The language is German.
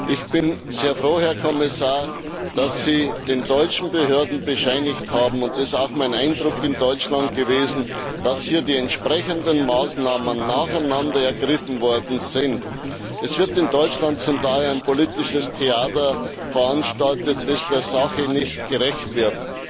Ich bin sehr froh, Herr Kommissar, dass Sie den deutschen Behörden bescheinigt haben das war auch mein Eindruck in Deutschland dass hier die entsprechenden Maßnahmen nacheinander ergriffen worden sind. Es wird in Deutschland zum Teil ein politisches Theater veranstaltet, das der Sache nicht gerecht wird.